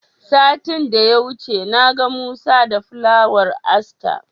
Satin da ya wuce na ga Musa da Fulawar Aster.